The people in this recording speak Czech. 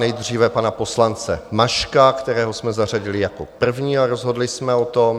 Nejdříve pana poslance Maška, kterého jsme zařadili jako prvního a rozhodli jsme o tom.